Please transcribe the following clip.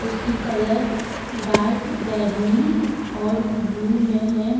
उसकी colour dark बैंगनी और ब्लू में है।